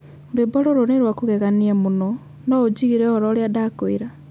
Rwĩmbo rũrũ nĩ rwa kũgegania mũno. No ũnjigĩre ũhoro ũria ndakwĩra